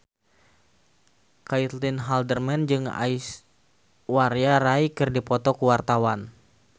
Caitlin Halderman jeung Aishwarya Rai keur dipoto ku wartawan